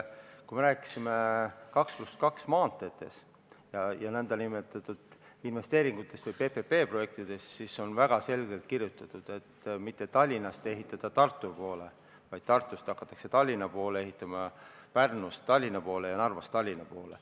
Kui me rääkisime 2 + 2 maanteedest ja nn investeeringutest või PPP-projektidest, siis sai väga selgelt kirjutatud, et ei ole vaja mitte hakata Tallinnast Tartu poole ehitama, vaid tuleb hakata Tartust Tallinna poole ehitama, Pärnust Tallinna poole ja Narvast Tallinna poole.